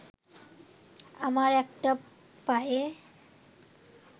আমার একটা পায়ে